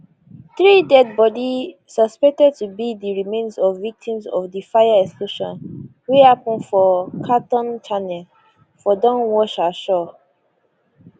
three deadibodi suspected to be di remains of victims of di fire explosion wey happen for cawthorne channel for don wash ashore